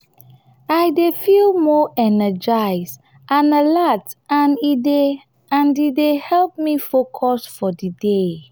i dey feel more energized and alert and e dey and e dey help me focus for di day.